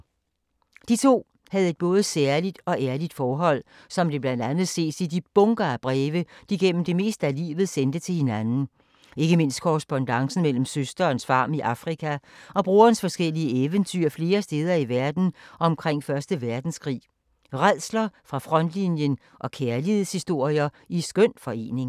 De to havde et både særligt og ærligt forhold, som det blandt andet ses i de bunker af breve, de gennem det meste af livet sendte til hinanden. Ikke mindst i korrespondancen mellem søsterens farm i Afrika og brorens forskellige eventyr flere steder i verden omkring første verdenskrig. Rædsler fra frontlinjen og kærlighedshistorier i skøn forening.